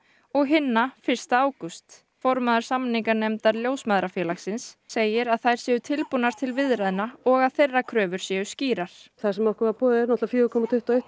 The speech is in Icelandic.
og hinna fyrsta ágúst formaður samninganefndar Ljósmæðrafélagsins segir að þær séu tilbúnar til viðræðna og að þeirra kröfur séu skýrar það sem okkur var boðið er náttúrulega fjóra komma tuttugu og eitt